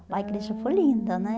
Ah, a igreja foi linda, né?